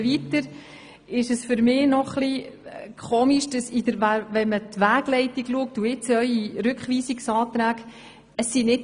Weiter finde ich es merkwürdig, wenn man die Wegleitung und Ihre Rückweisungsanträge vergleicht.